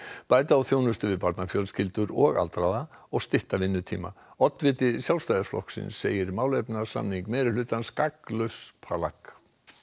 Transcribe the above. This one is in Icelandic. bæta á þjónustu við barnafjölskyldur og aldraða og stytta vinnuvikuna oddviti Sjálfstæðisflokks segir málefnasamning meirihlutans gagnslaust plagg